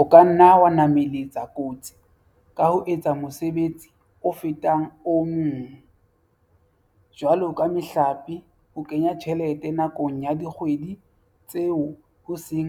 O ka nna wa namalatsa kotsi ka ho etsa mosebetsi o fetang o e mong, jwalo ka mehlape ho kenya tjhelete nakong ya dikgwedi tseo ho seng